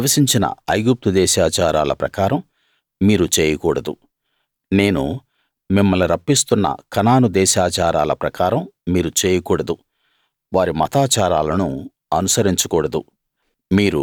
మీరు నివసించిన ఐగుప్తు దేశాచారాల ప్రకారం మీరు చేయకూడదు నేను మిమ్మల్ని రప్పిస్తున్న కనాను దేశాచారాల ప్రకారం మీరు చేయకూడదు వారి మతాచారాలను అనుసరించ కూడదు